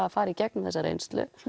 að fara í gegnum þessa reynslu